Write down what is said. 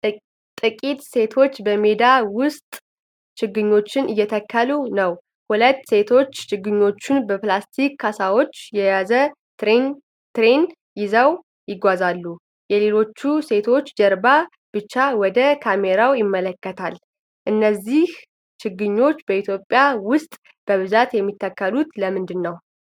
ጥቂት ሴቶች በሜዳ ውስጥ ችግኞችን እየተከሉ ነው። ሁለቱ ሴቶች ችግኞችን በፕላስቲክ ካሳዎች የያዘ ትሬይ ይዘው ይጓዛሉ። የሌሎቹ ሴቶች ጀርባ ብቻ ወደ ካሜራው ይመለከታል። እነዚህ ችግኞች በኢትዮጵያ ውስጥ በብዛት የሚተከሉት ለምንድን ነው?